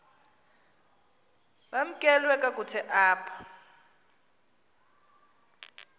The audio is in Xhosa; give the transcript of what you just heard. bamkelwe kakuhte apha